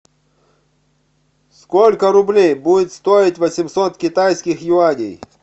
сколько рублей будет стоить восемьсот китайских юаней